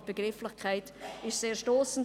Aber die Begrifflichkeit ist sehr stossend.